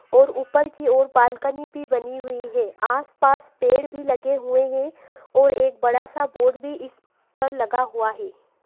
ओर ऊपर की ओर बालकनी भी बनी हुयी है आसपास पेड़ भी लगे हुए है ओर एक बडा सा बोर्ड भी इसपर लगा हुआ है।